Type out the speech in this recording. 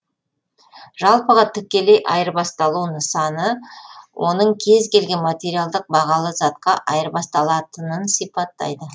жалпыға тікелей айырбасталу нысаны оның кез келген материалдық бағалы затқа айырбасталатынын сипаттайды